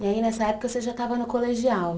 E aí nessa época você já estava no colegial?